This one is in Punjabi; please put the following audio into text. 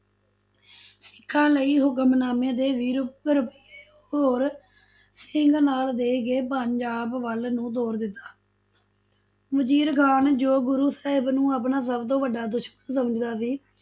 ਸਿਖਾਂ ਲਈ ਹੁਕਨਾਮੇ, ਤੇ ਵੀਹ ਹੋਰ ਸਿੰਘ ਨਾਲ ਦੇ ਕੇ ਪੰਜਾਬ ਵੱਲ ਨੂੰ ਤੋਰ ਦਿੱਤਾ ਵਜੀਰ ਖਾਨ ਜੋ ਗੁਰੂ ਸਾਹਿਬ ਨੂੰ ਆਪਣਾ ਸਭ ਤੋ ਵਡਾ ਦੁਸ਼ਮਨ ਸਮਝਦਾ ਸੀ,